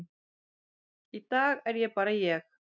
í dag er ég bara ég.